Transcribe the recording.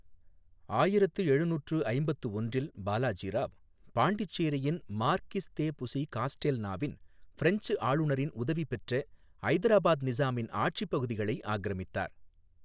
ஆயிரத்து எழுநூற்று ஐம்பத்து ஒன்றில் பாலாஜி ராவ், பாண்டிச்சேரியின் மார்க்கிஸ் தே புசி காஸ்டேல்நாவின் பிரெஞ்சு ஆளுநரின் உதவி பெற்ற ஐதராபாத் நிசாமின் ஆட்சிப் பகுதிகளை ஆக்கிரமித்தார்.